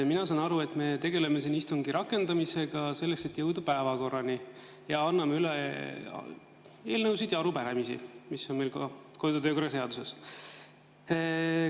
Mina saan aru, et me tegeleme siin istungi rakendamisega, selleks et jõuda päevakorrani, ning anname üle eelnõusid ja arupärimisi, nagu on meil ka kodu‑ ja töökorra seaduses.